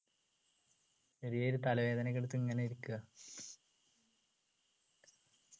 ചെറിയൊരു തലവേദനയൊക്കെ എടുത്ത് ഇങ്ങനെ ഇരിക്കാ